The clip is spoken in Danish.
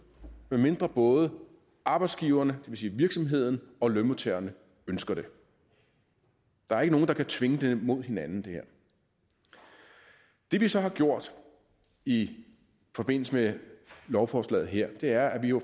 medmindre både arbejdsgiverne vil sige virksomheden og lønmodtagerne ønsker det der er ikke nogen der kan tvinge hinanden her det vi så har gjort i forbindelse med lovforslaget her er at vi jo